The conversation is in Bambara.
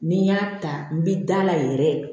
Ni n y'a ta n bi da la yɛrɛ